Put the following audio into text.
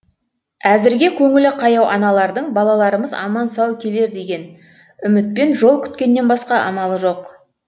әзірге көңілі қаяу аналардың балаларымыз аман сау келер деген үмітпен жол күткеннен басқа амалы жоқ